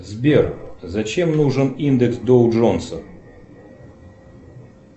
сбер зачем нужен индекс доу джонса